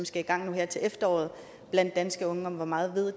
skal i gang nu her til efteråret blandt danske unge om hvor meget